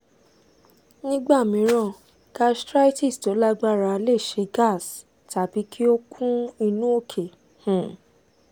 nígbà mìíràn gastritis tó lágbára lè ṣe gas tàbí kí ó kún inú òkè um